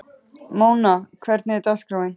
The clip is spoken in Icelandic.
Mona, hvernig er dagskráin?